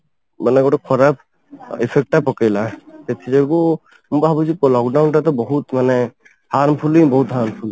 ମାନେ ଗୋଟେ ଖରାପ effect ଟା ପକେଇଲା ସେଥି ଯୋଗୁ ମୁଁ ଭାବୁଛି lock down ଟା ତ ବହୁତ ମାନେ harmful ହିଁ ବହୁତ harmful